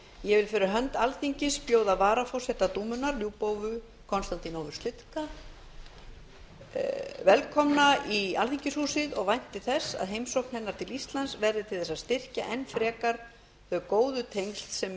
ég vil fyrir hönd alþingis bjóða lyubovu konstantinovu sliska velkomna í alþingishúsið og vænti þess að heimsókn hennar til íslands verði til að styrkja enn frekar þau góðu tengsl sem